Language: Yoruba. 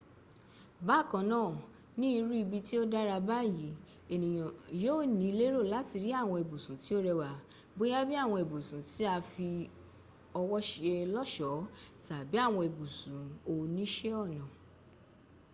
bakanna ni iru ibi ti o dara bayi eniyan yio ni lero lati ri awon ibusun ti o rewa boya bi awon ibusun ti a fi owo se loso tabi awon ibusun onise ona